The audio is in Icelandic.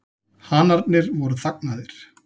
Hanarnir voru þagnaðir.